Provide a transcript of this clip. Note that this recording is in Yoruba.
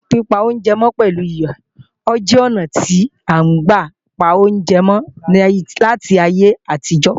Pípa oúnjẹ mọ́ pẹ̀lú iyọ̀ jẹ́ ọnà tí à ń gbà pa oúnjẹ mọ́ láti ayé àtijọ́